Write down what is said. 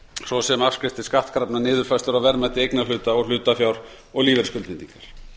svo afskriftir skattkrafna niðurfærslur á verðmæti eignarhluta og hlutafjár og lífeyrisskuldbindingar